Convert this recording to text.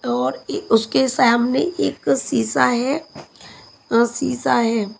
और उसके सामने एक शीशा है अह शीशा है।